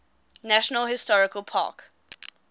national historical park